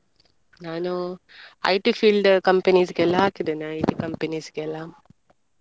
ನಾನು IT field companies ಗೆಲ್ಲ ಹಾಕಿದ್ದೇನೆ IT companies ಗೆಲ್ಲ.